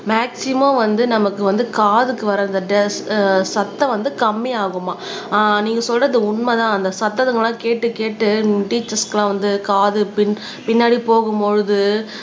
maximum வந்து நமக்கு வந்து காதுக்கு வர அந்த அஹ் சத்தம் வந்து கம்மியாகுமாம் ஆஹ் நீங்க சொல்றது உண்மைதான் அந்த சத்ததுங்கெல்லாம் கேட்டு கேட்டு டீச்சர்ஸ்க்கு எல்லாம் வந்து காது பின் பின்னாடி போகும் பொழுது